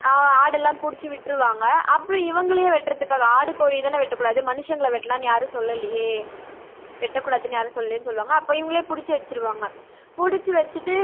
ஆஹ் ஆடுலாம் புடிச்சி விட்டுருவாங்க அப்புறம் இவங்களையே வெட்றதுக்காக ஆடு கோழி தான வெட்டக்கூடாது மனுஷங்களை வெட்டலாம்னு யாரும் சொல்லலையே. வெட்டக்கூடாதுனு யாரும் சொல்லலையே சொல்லுவாங்க அப்ப இவங்களையே புடிச்சி வெச்சிடுவாங்க புடிச்சி வெச்சிட்டு